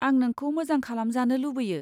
आं नोंखौ मोजां खालामजानो लुबैयो।